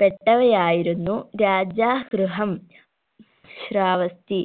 പെട്ടവയായിരുന്നു Rajagriha Shravasti